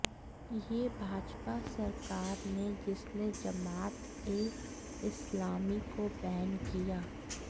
यह भाजपा सरकार ने जिसने जमात ए इस्लामी को बैन किया